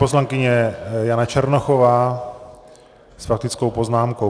Poslankyně Jana Černochová s faktickou poznámkou.